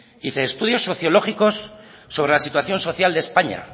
y dice estudios sociológicos sobre la situación social de españa